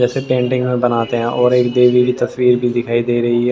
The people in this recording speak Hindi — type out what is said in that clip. जैसे पेंटिंग में बनाते हैं और एक देवी की तस्वीर भी दिखाई दे रही है।